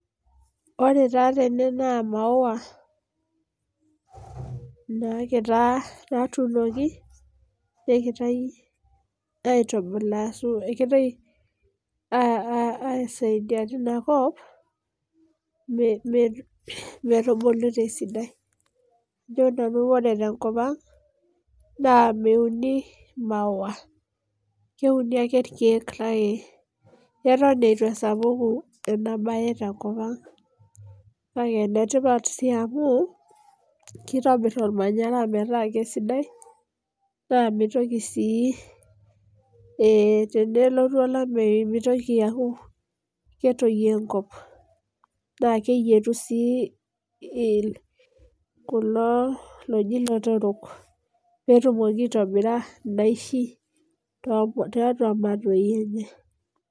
Ore taa tene naa maowa, nakira natuunoki, nekitai aitubulaa asu ekitai aisaidia tinakop, metubulu tesidai. Aho nanu ore tenkop ang, naa meuni maowa. Keuni ake irkeek kake eton eitu esapuku enabae tenkop ang. Kake enetipat si amu, kitobir ormanyara metaa kesidai, naa mitoki si tenelotu olameyu mitoki aku ketoyio enkop. Na keyietu si kulo loji lotorok. Petumoki aitobira inaishi totua matoi enye.